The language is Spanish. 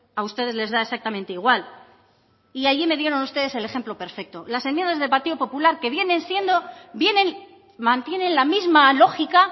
a ustedes les da exactamente igual y allí me dieron ustedes el ejemplo perfecto las enmiendas del partido popular que vienen siendo vienen mantienen la misma lógica